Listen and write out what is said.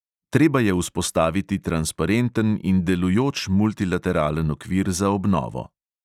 Treba je vzpostaviti transparenten in delujoč multilateralen okvir za obnovo.